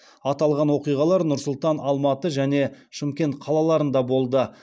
аталған оқиғалар нұр сұлтан алматы және шымкент қалаларында болды